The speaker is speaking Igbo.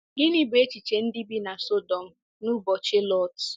Gịnị bụ echiche ndị bi na Sọdọm n’ụbọchị Lọt?